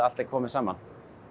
allt komið saman